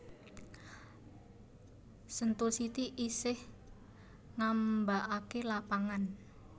Sentul City isih ngambaake lapangan